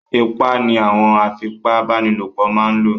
Ipá ni àwọn afipa bánilòpọ̀ máa ń lò